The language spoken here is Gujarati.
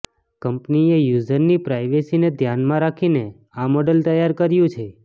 કંપનીએ યુઝરની પ્રાઇવેસીને ધ્યાનમાં રાખીને આ મોડલ તૈયાર કર્યું છે